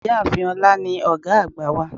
Ìyáàfin olá ní ògá àgbà wa